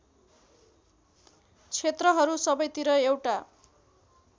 क्षेत्रहरू सबैतिर एउटा